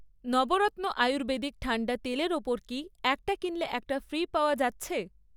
নবরত্ন ayurvedic ঠান্ডা তেলের ওপর কি 'একটা কিনলে একটা ফ্রি' পাওয়া যাচ্ছে?